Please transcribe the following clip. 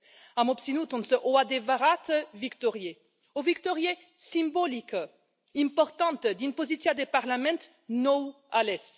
Am obținut însă o adevărată victorie, o victorie simbolică, importantă din poziția de Parlament nou ales.